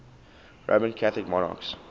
roman catholic monarchs